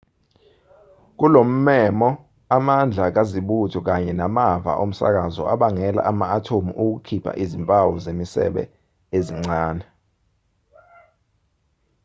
kulommemo amandla kazibuthe kanye namava omsakazo abangela ama-athomu ukukhipha izimpawu zemisebe ezincane